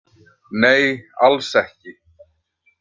Nei alls ekki.